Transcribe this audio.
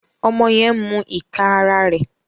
Ọmọ yẹn n mú ìká àrà rẹ.